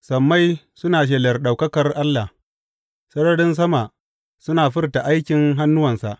Sammai suna shelar ɗaukakar Allah; sararin sama suna furta aikin hannuwansa.